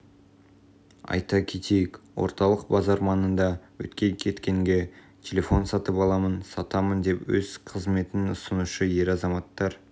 айта кетейік орталық базар маңында өткен-кеткенге телефон сатып аламын сатамын деп өз қызметін ұсынушы ер азаматтар